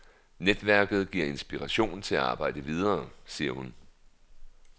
Netværket giver inspiration til at arbejde videre, siger hun.